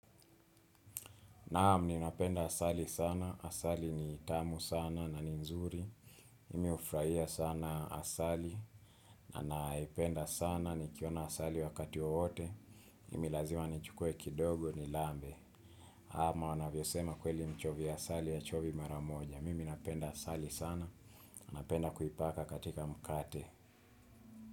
Naam ninapenda asali sana, asali ni tamu sana na ni nzuri, mimi hufurahia sana asali, na naipenda sana nikiona asali wakati wowote, mimi lazima nichukue kidogo nilambe. Ama wanavyo sema kweli mchovia asali hachovi maramoja, mimi napenda asali sana, napenda kuipaka katika mkate.